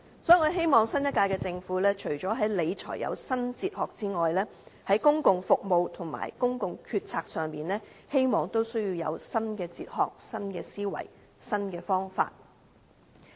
所以我希望新一屆政府除在理財方面有新哲學外，在公共服務和公共決策上也有新的哲學、思維和方法。